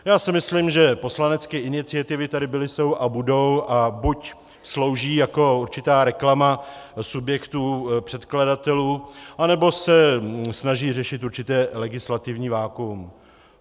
Já si myslím, že poslanecké iniciativy tady byly, jsou a budou a buď slouží jako určitá reklama subjektů předkladatelů, anebo se snaží řešit určité legislativní vakuum.